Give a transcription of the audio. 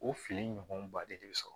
O fili ɲɔgɔn ba de bɛ sɔrɔ